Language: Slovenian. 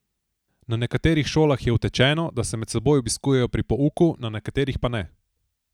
Na nekaterih šolah je utečeno, da se med seboj obiskujejo pri pouku, na nekaterih pa ne.